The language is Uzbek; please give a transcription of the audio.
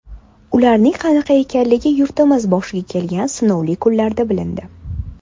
Ularning qanaqa ekanligi yurtimiz boshiga kelgan sinovli kunlarda bilindi.